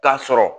K'a sɔrɔ